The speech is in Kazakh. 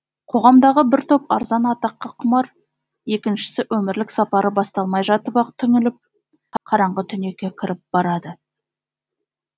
қоғамдағы бір топ арзан атаққа құмар екіншісі өмірлік сапары басталмай жатып ақ түңіліп қараңғы түнекке кіріп барады